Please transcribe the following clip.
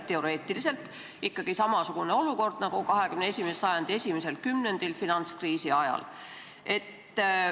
Teoreetiliselt võib tekkida samasugune olukord nagu XXI sajandi esimesel kümnendil finantskriisi ajal.